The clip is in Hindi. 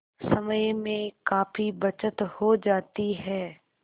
समय में काफी बचत हो जाती है